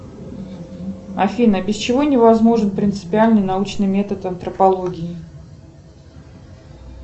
афина без чего не возможен принципиальный научный метод антропологии